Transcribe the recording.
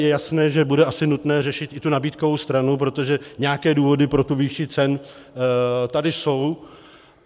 Je jasné, že bude asi nutné řešit i tu nabídkovou stranu, protože nějaké důvody pro tu výši cen tady jsou.